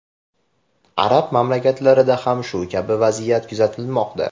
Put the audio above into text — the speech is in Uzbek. Arab mamlakatlarida ham shu kabi vaziyat kuzatilmoqda.